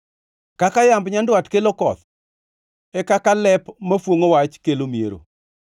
Kaka yamb nyandwat kelo koth, e kaka lep mafuongʼo wach kelo miero.